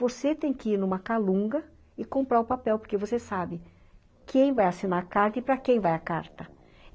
Você tem que ir em uma calunga e comprar o papel, porque você sabe quem vai assinar a carta e para quem vai a carta.